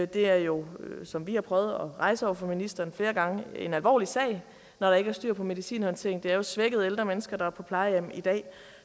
det er jo som vi har prøvet at rejse over for ministeren flere gange en alvorlig sag når der ikke er styr på medicinhåndteringen det er jo svækkede ældre mennesker der er på plejehjem i dag